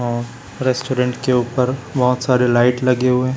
और रेस्टोरेंट के ऊपर बहोत सारे लाइट लगे हुएं--